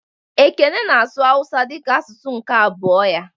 Ekene na-asụ Hausa dịka asụsụ nke abụọ ya